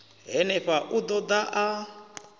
henefha u ḓo ḓa a